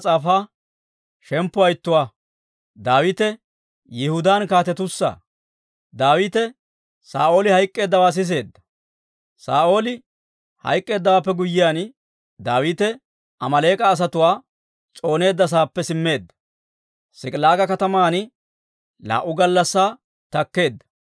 Saa'ooli hayk'k'eeddawaappe guyyiyaan, Daawite Amaaleek'a asatuwaa s'ooneedda saappe simmeedda; S'ik'ilaaga kataman laa"u gallassaa takkeedda.